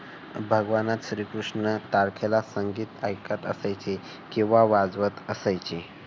भगवान श्रीकृष्ण तारखेला संगीत ऐकत असायचे. किंवा वाजवत असायचे.